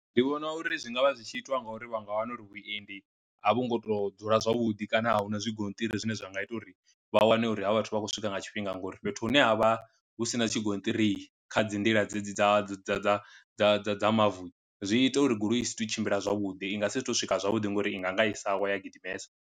Ndi vhona uri zwi ngavha zwi tshi itwa nga uri vha nga wana uri vhuendi a vho ngo to dzula zwavhuḓi kana a huna zwi gonṱiri zwine zwa nga ita uri vha wane uri ha vhathu vha khou swika nga tshifhinga, ngori fhethu hune ha vha hu sina tshigonṱiri kha dzi nḓila dzedzi dza dza dza dza dza dza mavu zwi ita uri goloi i si to tshimbila zwavhuḓi i nga si to swika zwavhuḓi ngori i nga nga isa wa ya gidimesa.